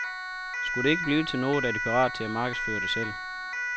Skulle det ikke blive til noget, er de parat til at markedsføre det selv.